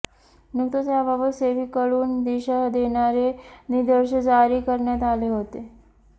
नुकताच याबाबत सेबीकडून दिशा देणारे निर्देश जारी करण्यात आले होते